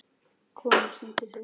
Konur signdu sig.